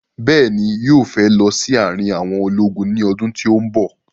Bẹ́ẹ̀ni, yóò fẹ́ lọ sí àrin àwọn ológun ní ọdún tí ó bọ̀